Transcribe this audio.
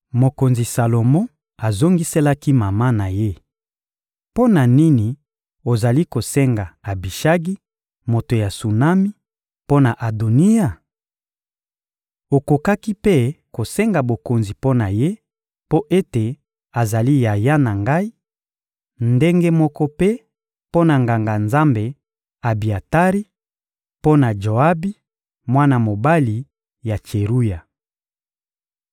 Mokonzi Salomo azongiselaki mama na ye: — Mpo na nini ozali kosenga Abishagi, moto ya Sunami, mpo na Adoniya? Okokaki mpe kosenga bokonzi mpo na ye, mpo ete azali yaya na ngai; ndenge moko mpe mpo na Nganga-Nzambe Abiatari, mpo na Joabi, mwana mobali ya Tseruya!